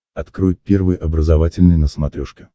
открой первый образовательный на смотрешке